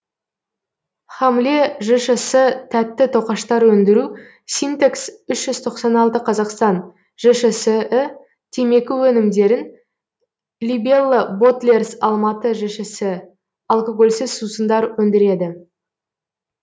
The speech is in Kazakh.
хамле жшс тәтті тоқаштар өндіру синтекс үш жүз тоқсан алты қазақстан жшс і темекі өнімдерін либелла ботлерс алматы жшс і алкогольсіз сусындар өндіреді